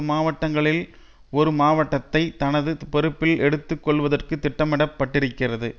மாவட்டங்களில் ஒரு மாவட்டத்தை தனது பொறுப்பில் எடுத்து கொள்வதற்கு திட்டமிடப் பட்டிருக்கிறது